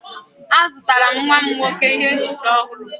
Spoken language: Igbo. Azụtara m nwa m nwoke ihe nchicha ọhụrụ.